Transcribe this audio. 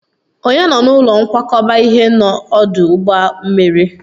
Ònye nọ n'ụlọ nkwakọba ihe n'ọdụ ụgbọ mmiri?